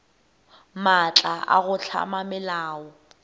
maatla a go hlama melao